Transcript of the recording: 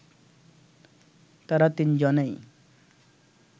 তারা তিন-জনেই